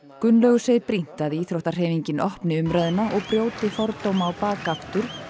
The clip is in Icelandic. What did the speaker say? Gunnlaugur segir brýnt að íþróttahreyfingin opni umræðuna og brjóti fordóma á bak aftur